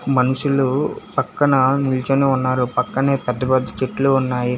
మనుషులు పక్కన నిల్చొని ఉన్నారు పక్కనే పెద్ద పెద్ద చెట్లు ఉన్నాయి.